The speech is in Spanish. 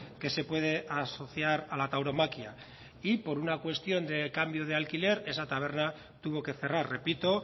que se puede asociar a la tauromaquia y por una cuestión de cambio de alquiler esa taberna tuvo que cerrar repito